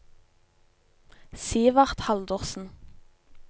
Sivert Haldorsen